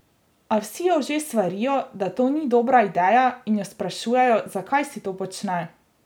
A vsi jo že svarijo, da to ni dobra ideja, in jo sprašujejo, zakaj si to počne?